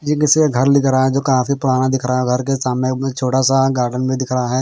ये किसी का घर लेके आए हैं जो काफी पुराना दिख रहा हैं घर के सामने एक अ छोटा सा गार्डन भी दिख रहा हैं।